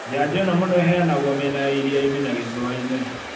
Njanjo ĩno mũno ĩheanagwo mĩena ya iria inĩ na gĩcũa-inĩ